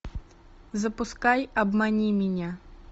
запускай обмани меня